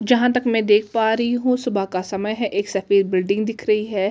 जहाँ तक मैं देख पा री हु सुबह का समह है एक सफेद बिल्डिंग दिख रही है जिसपे--